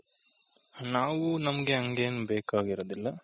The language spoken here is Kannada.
ನಾವು ನಮ್ಗೆ ಹಂಗೇನು ಬೇಕಾಗಿರೋದಿಲ್ಲ.